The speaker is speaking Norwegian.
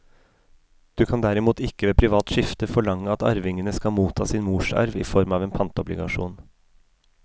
Du kan derimot ikke ved privat skifte forlange at arvingene skal motta sin morsarv i form av en pantobligasjon.